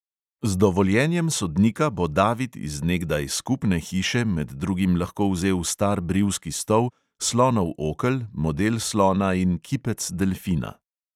Z dovoljenjem sodnika bo david iz nekdaj skupne hiše med drugim lahko vzel star brivski stol, slonov okel, model slona in kipec delfina.